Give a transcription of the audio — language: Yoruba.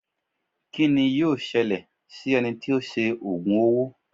Kí ni yíò ṣẹlẹ̀ si ẹni tó sé ògùn owó?